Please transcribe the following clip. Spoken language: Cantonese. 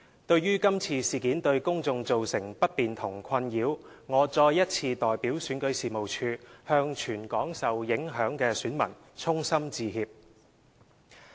對於這次事件對公眾造成不便和困擾，我再次代表選舉事務處向全港受影響選民衷心致歉。